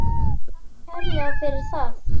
Takk kærlega fyrir það.